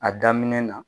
A daminɛ na